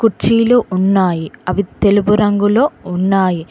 చీలు ఉన్నాయి అవి తెలుపు రంగులో ఉన్నాయి.